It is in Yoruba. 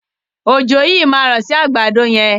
Òjò yii ma rọ sí àgbàdo yẹn.